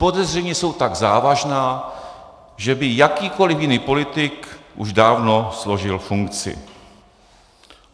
Podezření jsou tak závažná, že by jakýkoliv jiný politik už dávno složil funkci.